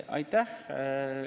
Aitäh!